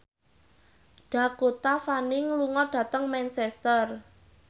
Dakota Fanning lunga dhateng Manchester